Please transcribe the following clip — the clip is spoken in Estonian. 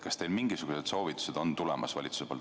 Kas mingisugused soovitused valitsuselt on tulemas?